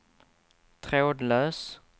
trådlös